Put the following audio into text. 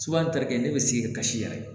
n tarikɛ ne bɛ sigi ni kasi yɛrɛ ye